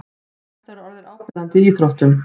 Þetta er orðið áberandi í íþróttum.